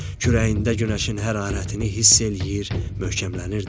Kürəyində günəşin hərarətini hiss eləyir, möhkəmlənirdi.